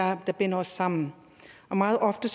er der binder os sammen meget ofte